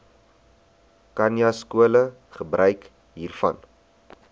khanyaskole gebruik hiervan